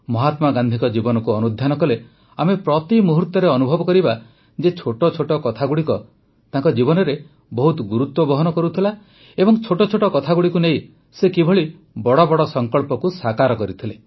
ମହାତ୍ମା ଗାନ୍ଧିଙ୍କ ଜୀବନକୁ ଅନୁଧ୍ୟାନ କଲେ ଆମେ ପ୍ରତିମୁହୂର୍ତ୍ତରେ ଅନୁଭବ କରିବା ଯେ ଛୋଟ ଛୋଟ କଥାଗୁଡ଼ିକ ତାଙ୍କ ଜୀବନରେ ବହୁତ ଗୁରୁତ୍ୱ ବହନ କରୁଥିଲା ଓ ଛୋଟ ଛୋଟ କଥାଗୁଡ଼ିକୁ ନେଇ ସେ କିଭଳି ବଡ଼ ବଡ଼ ସଂକଳ୍ପକୁ ସାକାର କରିଥିଲେ